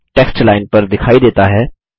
text line पर दिखाई देता है